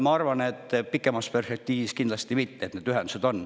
Ma arvan, et pikemas perspektiivis kindlasti mitte, et need ühendused on.